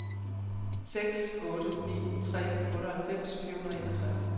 seks otte ni tre otteoghalvfems fire hundrede og enogtres